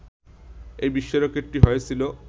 এই বিশ্ব রেকর্ডটি হয়েছিল